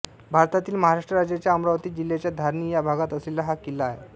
भारतातील महाराष्ट्र राज्याच्या अमरावती जिल्ह्याच्या धारणी या भागात असलेला हा किल्ला आहे